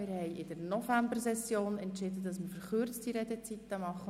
Wir hatten in der Novembersession entschieden, dass wir verkürzte Redezeiten haben werden.